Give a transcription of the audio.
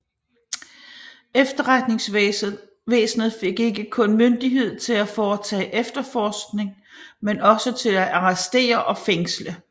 Efterretningsvæsenet fik ikke kun myndighed til at foretage efterforskning men også til at arrestere og fængsle